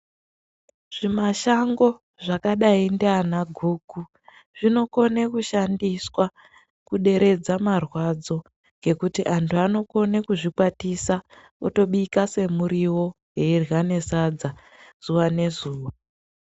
Zvi mashango zvakadai ndiana guku zvino kone kushandiswa ku deredza marwadzo ngekuti antu ano kone kuzvi kwatisa oto bika se muriwo we irya ne sadza zuva ne zuva.